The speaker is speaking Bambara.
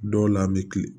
Dɔw la an bɛ kilen